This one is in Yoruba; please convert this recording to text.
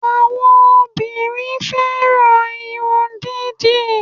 Àwọn obìnrin fẹ́ràn irun dídì